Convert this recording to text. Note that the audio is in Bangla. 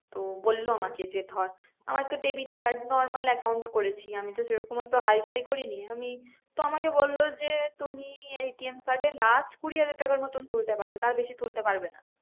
তো বললো আমাকে যে ধর আমার তো debit card normal account করেছি আমি তো সে রকম অত hi-fi করিনি আমি তো আমাকে বললো যে তুমি ATM card এ last কুড়ি হাজার টাকার মতোন তুলতে পারবে তার বেশি তুলতে পারবে না।